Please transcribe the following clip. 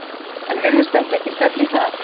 Jónas: En virðist þetta ekki stefna í það?